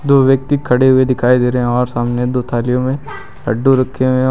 दो व्यक्ति खड़े हुए दिखाई दे रहे हैं और सामने दो थालियों में लड्डू रखे हुए हैं।